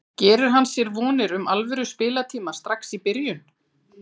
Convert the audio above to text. Gerir hann sér vonir um alvöru spiltíma strax í byrjun?